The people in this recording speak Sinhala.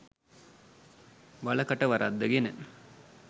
වල කට වරද්දගෙන